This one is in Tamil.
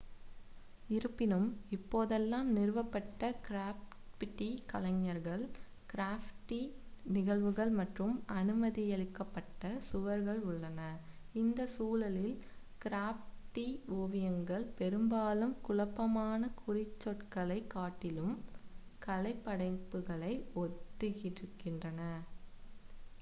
"""இருப்பினும் இப்போதெல்லாம் நிறுவப்பட்ட கிராஃபிட்டி கலைஞர்கள் கிராஃபிட்டி நிகழ்வுகள் மற்றும்""""அனுமதியளிக்கப்பட்ட""""சுவர்கள் உள்ளன. இந்த சூழலில் கிராஃபிட்டி ஓவியங்கள் பெரும்பாலும் குழப்பமான குறிச்சொற்களைக் காட்டிலும் கலைப்படைப்புகளை ஒத்திருக்கின்றன.""